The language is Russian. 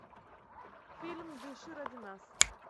фильм дыши ради нас